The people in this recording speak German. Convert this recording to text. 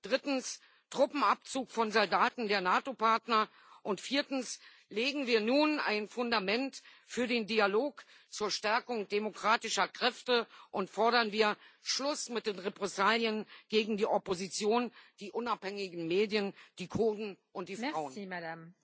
Drittens Truppenabzug von Soldaten der NATO Partner, und viertens Legen wir nun ein Fundament für den Dialog zur Stärkung demokratischer Kräfte und fordern wir Schluss mit den Repressalien gegen die Opposition, die unabhängigen Medien, die Kurden und die Frauen.